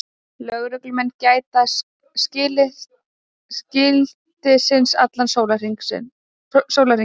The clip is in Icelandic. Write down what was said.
Lögreglumenn gæta skiltisins allan sólarhringinn